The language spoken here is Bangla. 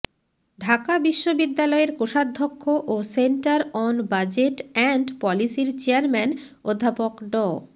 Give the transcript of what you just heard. ঢাকা বিশ্ববিদ্যালয়ের কোষাধ্যক্ষ ও সেন্টার অন বাজেট এন্ড পলিসির চেয়ারম্যান অধ্যাপক ড